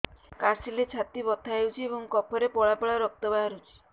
କାଶିଲେ ଛାତି ବଥା ହେଉଛି ଏବଂ କଫରେ ପଳା ପଳା ରକ୍ତ ବାହାରୁଚି